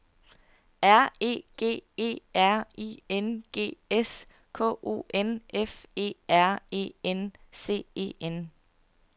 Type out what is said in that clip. R E G E R I N G S K O N F E R E N C E N